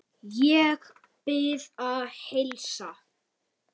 Ég bið að heilsa.